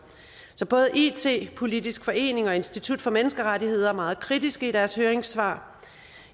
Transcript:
så både it politisk forening og institut for menneskerettigheder er meget kritiske i deres høringssvar